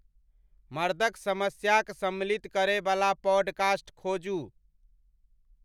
मर्दक समस्या क सम्मिलित करें बला पॉडकास्ट खोजू